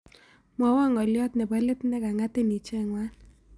Mwawon ng'oliot ne po let negan'gatin icheng'wan